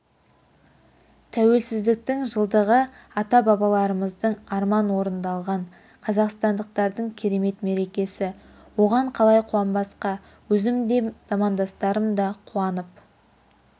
тәуелсіздіктің жылдығы ата-бабаларымыздың арманы орындалған қазақстандықтардың керемет мерекесі оған қалай қуанбасқа өзім де замандастарым да қуанып